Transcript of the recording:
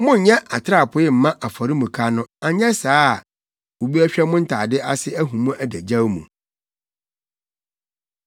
Monnyɛ atrapoe mma afɔremuka no anyɛ saa a, obi bɛhwɛ mo ntade ase ahu mo adagyaw mu.’